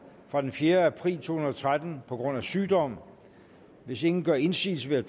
fra den fjerde april to tusind og tretten på grund af sygdom hvis ingen gør indsigelse vil